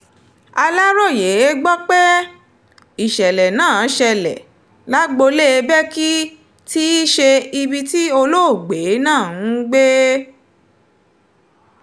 aláròye gbọ́ pé ìṣẹ̀lẹ̀ náà ṣẹlẹ̀ lágboolé bẹ́kí tí í ṣe ibi tí olóògbé náà ń gbé